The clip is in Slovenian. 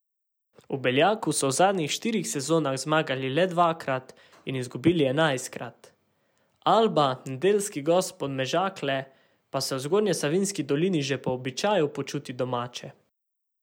V Beljaku so v zadnjih štirih sezonah zmagali le dvakrat in izgubili enajstkrat, Alba, nedeljski gost Podmežakle, pa se v Zgornjesavski dolini že po običaju počuti domače.